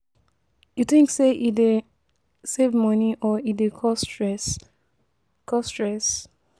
You think say e dey save money or e dey cause stress? cause stress?